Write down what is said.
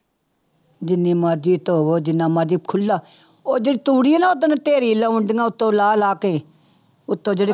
ਜਿੰਨੀ ਮਰਜ਼ੀ ਧੋਵੋ, ਜਿੰਨਾ ਮਰਜ਼ੀ ਖੁੱਲਾ ਉਹ ਜਿਹੜੀ ਤੂੜੀ ਆ ਨਾ ਓਦਣ ਢੇਰੀ ਲਾਉਂਦੀਆਂ ਉੱਤੋਂ ਲਾਹ ਲਾਹ ਕੇ, ਉੱਤੋਂ ਜਿਹੜੀ